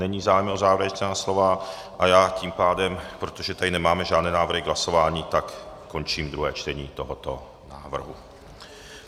Není zájem o závěrečná slova a já tím pádem, protože tady nemáme žádné návrhy k hlasování, tak končím druhé čtení tohoto návrhu.